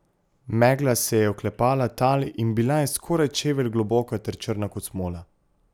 Megla se je oklepala tal in bila je skoraj čevelj globoka ter črna kot smola.